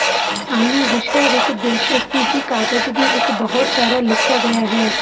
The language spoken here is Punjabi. ਸਾਨੂੰ ਵਿਸ਼ੇ ਵਿੱਚ ਦਿਲਚਸਪੀ ਹੀ ਕਾਗਜ਼ ਦੀ ਇੱਕ ਬਹੁਤ ਸਾਰਾ ਲਿਖਿਆ ਗਿਆ ਹੈ